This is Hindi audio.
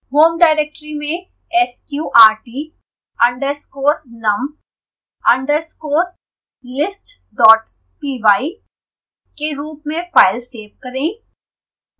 home directory में sqrt_num_listpy के रूप में फाइल सेव करें